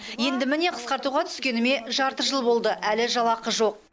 енді міне қысқартуға түскеніме жарты жыл болды әлі жалақы жоқ